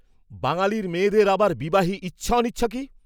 বাঙ্গালীর মেয়েদের আবার বিবাহে ইচ্ছা অনিচ্ছা কি?